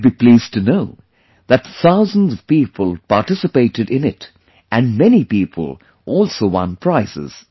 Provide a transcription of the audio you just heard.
You wouldbe pleased to know that thousands of people participated in it and many people also won prizes